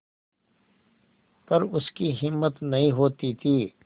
पर उसकी हिम्मत नहीं होती थी